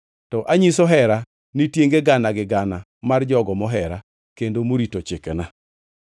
to anyiso hera ni tienge gana gi gana mar jogo mohera kendo morito chikena.